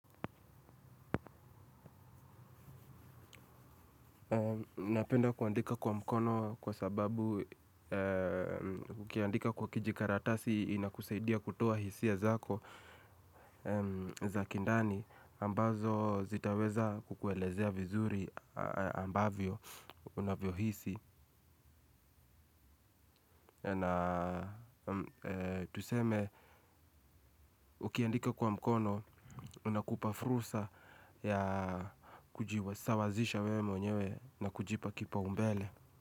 Napenda kuandika kwa mkono kwa sababu ukiandika kwa kijikaratasi inakusaidia kutoa hisia zako za kindani ambazo zitaweza kukuelezea vizuri ambavyo unavyohisi. Na tuseme ukiandika kwa mkono unakupa fursa ya kujiwasawazisha wewe mwenyewe na kujipa kipaumbele.